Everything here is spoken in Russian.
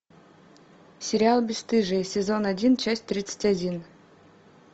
сериал бесстыжие сезон один часть тридцать один